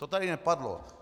To tady nepadlo.